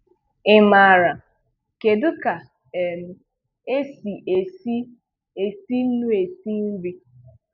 Ị maara: kedu ka um esi esi esi nnu esi nri?